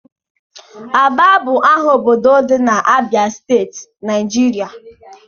Aba bụ aha obodo dị na Abịa steeti, Naịjirịa